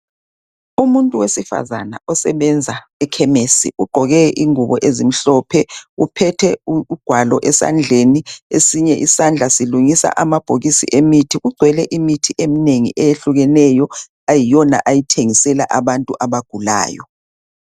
Umuntu wesifazana osebenza ekhemesi ugqoke ingubo ezimhlophe uphethe ugwalo esandleni esinye isandla silungisa amabhokisi emithi kugcwele imithi eminenge eyehlukeneyo eyiyona ayithengisela abantu abagulayo.